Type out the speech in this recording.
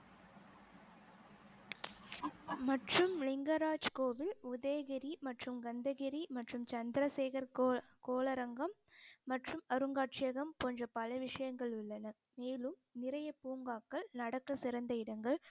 மற்றும் லிங்கராஜ் கோவில் உதயகிரி மற்றும் கந்தகிரி மற்றும் சந்திரசேகர் கோளரங்கம் மற்றும் அருங்காட்சியகம் போன்ற பல விஷயங்கள் உள்ளன மேலும் நிறைய பூங்காக்கள் நடக்க சிறந்த இடங்கள்